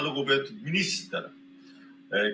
Lugupeetud minister!